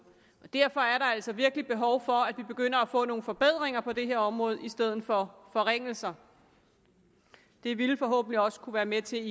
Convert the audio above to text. derfor er der altså virkelig behov for at vi begynder at få nogle forbedringer på det her område i stedet for forringelser det ville forhåbentlig også kunne være med til